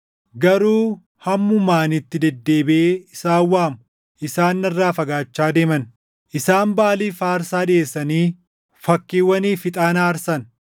Garuu hammuma ani itti deddeebiʼee isaan waamu, isaan narraa fagaachaa deeman. Isaan Baʼaaliif aarsaa dhiʼeessanii fakkiiwwaniif ixaana aarsan.